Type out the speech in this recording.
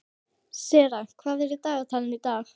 Sera, hvað er á dagatalinu í dag?